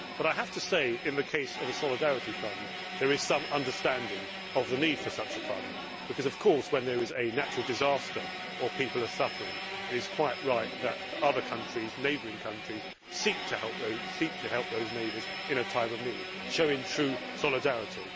However, I have to say in the case of the Solidarity Fund, there is some understanding of the need for such a fund because, of course, when there is a natural disaster or people are suffering it is quite right that other countries, neighbouring countries, seek to help those neighbours in a time of need by showing true solidarity.